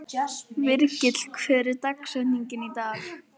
Virgill, hver er dagsetningin í dag?